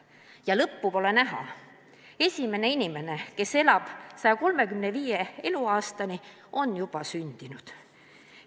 Ja lõppu pole näha: esimene inimene, kes elab 135. eluaastani, on juba sündinud.